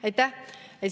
Aitäh!